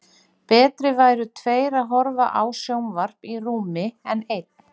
Betri væru tveir að horfa á sjónvarp í rúmi en einn.